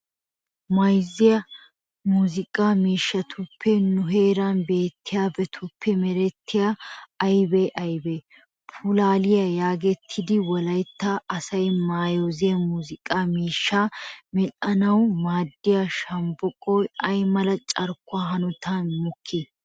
Mayzza muuziiqaa miishshatuppe nu heeran beettiyabatuppe merettiyabati aybee aybee? Pulaaliya geetettiya wolaytta asaa mayzza muuziiqaa miishshaa medhdhanawu maaddiya shombboqoy ay mala carkkuwa hanotan mokkii?